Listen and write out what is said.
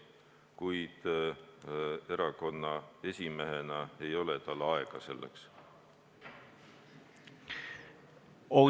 Kuid erakonna esimehena ei ole tal aega delegatsiooni tegevuseks.